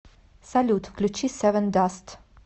салют включи севендаст